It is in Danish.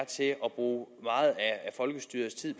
bruge meget af folkestyrets tid